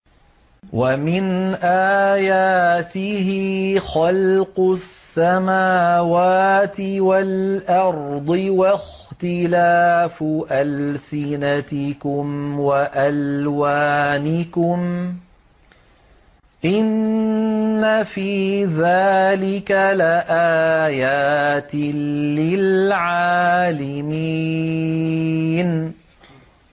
وَمِنْ آيَاتِهِ خَلْقُ السَّمَاوَاتِ وَالْأَرْضِ وَاخْتِلَافُ أَلْسِنَتِكُمْ وَأَلْوَانِكُمْ ۚ إِنَّ فِي ذَٰلِكَ لَآيَاتٍ لِّلْعَالِمِينَ